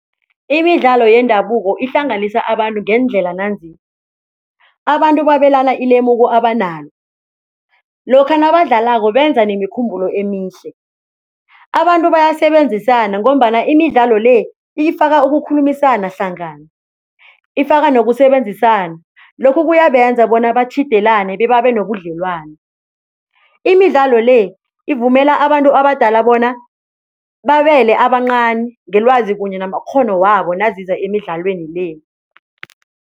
Imidlalo yendabuko ihlanganisa abantu ngeendlela nanzi, abantu babelane ilemuko abanalo lokha nabadlalako benza nemikhumbulo emihle, abantu bayasebenzisana ngombana imidlalo le ifaka ukukhulumisana hlangana, ifaka nokusebenzisana lokhu kuyabenza bona batjhidelane bebabe nobudlelwano. Imidlalo le ivumela abantu abadala bona babele abancani ngelwazi kunye namakghono wabo naziza emidlalweni le.